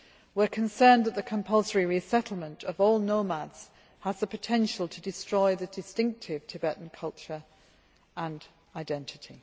We are concerned that the compulsory resettlement of all nomads has the potential to destroy the distinctive Tibetan culture and identity.